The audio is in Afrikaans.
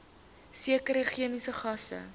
sekere chemiese gasse